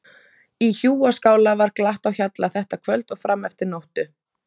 Í hjúaskála var glatt á hjalla þetta kvöld og fram eftir nóttu.